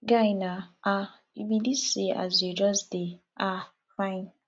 guy na um you be dis see as you just dey um fine